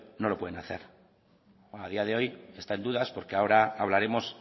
no lo pueden hacer bueno a día de hoy está en dudas porque ahora hablaremos